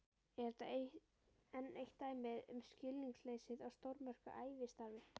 Er þetta enn eitt dæmið um skilningsleysið á stórmerku ævistarfi